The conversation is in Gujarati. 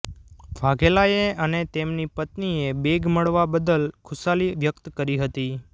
વાઘેલાએ અને તેમની પત્ત્નીએ બેગ મળવા બદલ ખુશાલી વ્યક્ત કરી હતી